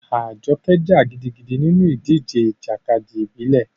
Ajoke jà gidigidi nínú ìdíje ìjàkadì ìbílẹ̀.